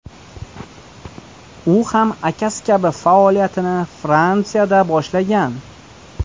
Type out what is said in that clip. U ham akasi kabi faoliyatini Fransiyada boshlagan.